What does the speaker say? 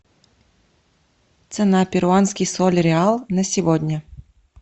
цена перуанский соль реал на сегодня